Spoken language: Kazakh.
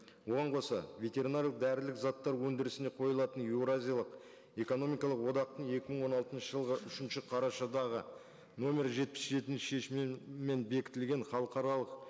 оған қоса ветеринариялық дәрілік заттар өндірісіне қойылатын еуразиялық экономикалық одақтың екі мың он алтыншы жылғы үшінші қарашадағы нөмір жетпіс жетінші шешімімен бекітілген халықаралық